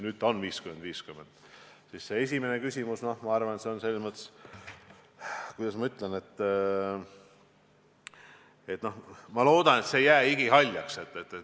Nüüd on 50 : 50. Mis puutub teie küsimuse algusse, siis, kuidas ma ütlen, ma loodan, et see eesmärk ei jää igihaljaks.